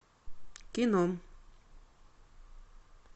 кино